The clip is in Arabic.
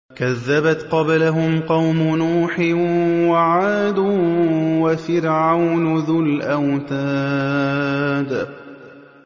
كَذَّبَتْ قَبْلَهُمْ قَوْمُ نُوحٍ وَعَادٌ وَفِرْعَوْنُ ذُو الْأَوْتَادِ